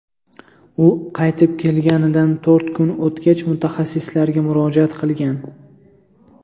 U qaytib kelganidan to‘rt kun o‘tgach, mutaxassislarga murojaat qilgan.